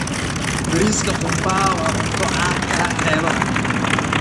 Bariiska qumbaha waa cunto caan ka ah xeebaha.